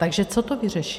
Takže co to vyřeší?